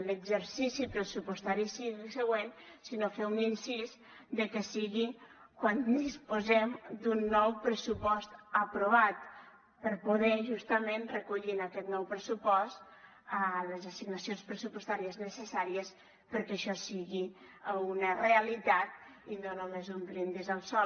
l’exercici pressupostari sigui el següent sinó fer un incís que sigui quan disposem d’un nou pressupost aprovat per poder justament recollir en aquest nou pressupost les assignacions pressupostàries necessàries perquè això sigui una realitat i no només un brindis al sol